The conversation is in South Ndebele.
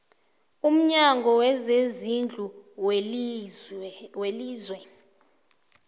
umnyango wezezindlu welizwe